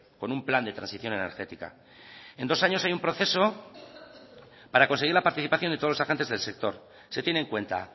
con un plan de transición energética en dos años hay un proceso para conseguir la participación de todos los agentes del sector se tiene en cuenta